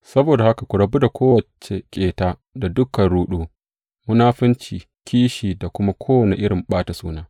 Saboda haka, ku rabu da kowace ƙeta da dukan ruɗu, munafunci, kishi, da kuma kowace irin ɓata suna.